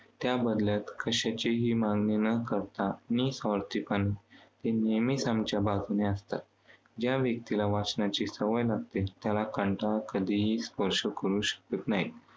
त्याबदल्यात कशाचीही मागणी न करता निस्वार्थीपणे ते नेहमची आमच्या बाजूने असतात. ज्या व्यक्तीला वाचनाची सवय लागते त्याला कंटाळा कधीही स्पर्श करू शकत नाही.